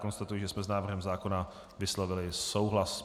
Konstatuji, že jsme s návrhem zákona vyslovili souhlas.